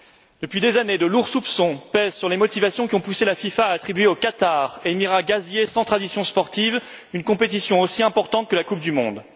Depuis des années, de lourds soupçons pèsent sur les motivations qui ont poussé la FIFA à attribuer au Qatar, émirat gazier sans tradition sportive, une compétition aussi importante que la Coupe du monde.